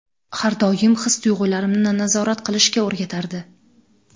Har doim his-tuyg‘ularimni nazorat qilishga o‘rgatardi.